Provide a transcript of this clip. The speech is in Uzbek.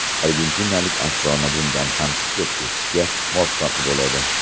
Argentinalik afsona bundan ham chiqib ketishga muvaffaq bo‘ladi.